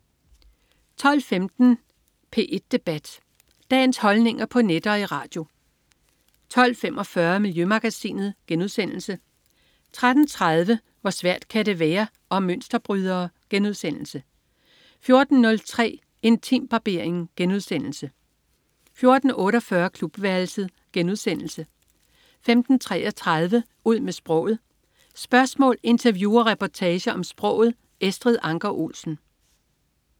12.15 P1 Debat. Dagens holdninger på net og i radio 12.45 Miljømagasinet* 13.30 Hvor svært kan det være? Om mønsterbrydere* 14.03 Intimbarbering* 14.48 Klubværelset* 15.33 Ud med sproget. Spørgsmål, interview og reportager om sproget. Estrid Anker Olsen